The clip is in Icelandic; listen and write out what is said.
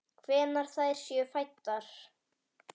Hvenær þær séu fæddar!